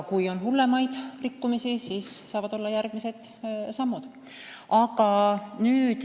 Kui on hullemaid rikkumisi, siis saavad olla järgmised sammud.